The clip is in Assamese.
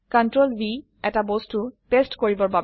Ctrl V এটা বস্তু পেস্ট কৰিবৰ বাবে